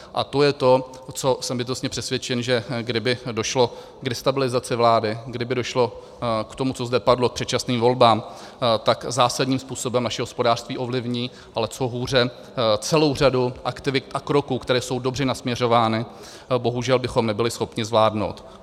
A to je to, co jsem bytostně přesvědčen, že kdyby došlo k destabilizaci vlády, kdyby došlo k tomu, co zde padlo, k předčasným volbám, tak zásadním způsobem naše hospodářství ovlivní, ale co hůře, celou řadu aktivit a kroků, které jsou dobře nasměřovány, bohužel bychom nebyli schopni zvládnout.